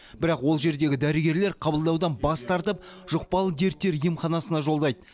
бірақ ол жердегі дәрігерлер қабылдаудан бас тартып жұқпалы дерттер емханасына жолдайды